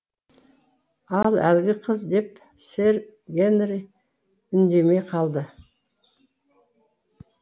ал әлгі қыз деп сэр генри үндемей қалды